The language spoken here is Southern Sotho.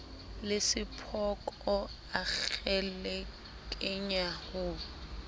le sephoko a kgelekenya ho